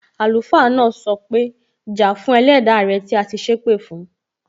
Àlùfáà náà sọ pé, Ja fún Ẹlẹda rẹ tí a ti sépè fún!